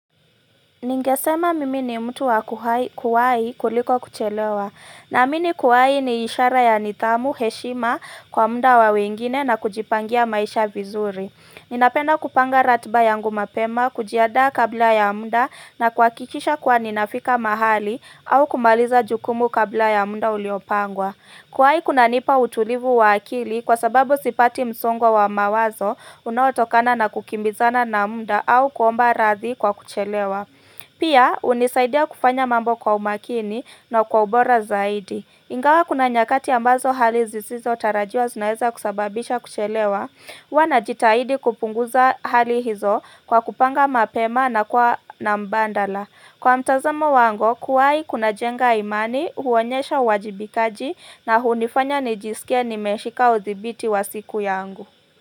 Ningesema mimi ni mtu wa kuwai kuliko kuchelewa. Naamini kuwai ni ishara ya nidhamu, heshima kwa muda wa wengine na kujipangia maisha vizuri. Ninapenda kupanga ratiba yangu mapema, kujiandaa kabla ya muda na kuhakikisha kuwa ninafika mahali au kumaliza jukumu kabla ya muda uliopangwa. Kuwai kunanipa utulivu wa akili kwa sababu sipati msongo wa mawazo unaotokana na kukimbizana na muda au kuomba radhi kwa kuchelewa. Pia hunisaidia kufanya mambo kwa umakini na kwa ubora zaidi. Ingawa kuna nyakati ambazo hali zisizotarajiwa zinaweza kusababisha kuchelewa Huwa najitahidi kupunguza hali hizo kwa kupanga mapema na kuwa na mbadala. Kwa mtazamo wangu kuwai kunajenga imani, huonyesha uwajibikaji na hunifanya nijisikie nimeshika udhibiti wa siku yangu.